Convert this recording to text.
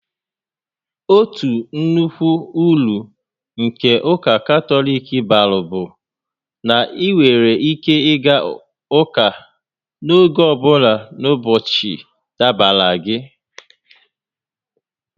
Otu nnukwu uru nke ụka Katọlik bara bụ na ị nwere ike ịga ụka n'oge ọ bụla n'ụbọchị dabara gị